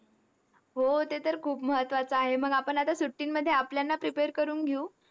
हो ते तर खूप महत्वाचं आहे. मग आपण आता सुट्टींमध्ये आपल्यांना prepare करून घेऊ.